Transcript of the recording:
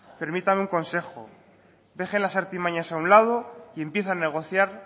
permítame un consejo deje las artimañas a un lado y empiece a negociar